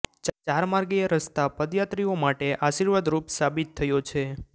ચારમાર્ગીય રસ્તા પદયાત્રીઓ માટે આશીર્વાદ રૂપ સાબિત થયો છે